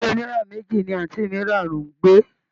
Ilé oniyara meji ni anti mira ń gbé.